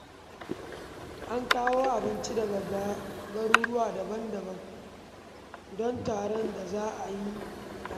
An kawo abinci daga garuruwa daban-daban don taron da za a yi a Minna.